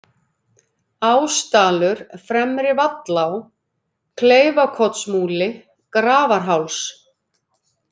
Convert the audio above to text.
Ásdalur, Fremri-Vallá, Kleifakotsmúli, Grafarháls